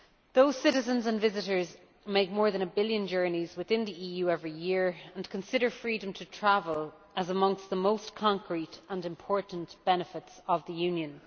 Those citizens and visitors make more than a billon journeys within the EU every year and consider freedom to travel as amongst the most concrete and important benefits of the Union.